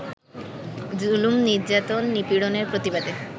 জুলুম, নির্যাতন, নিপীড়নের প্রতিবাদে